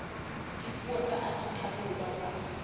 dipuo tsa afrika borwa tsa